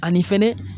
Ani fɛnɛ